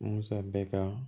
Musa bɛ ka